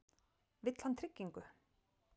Vill hann tryggingu?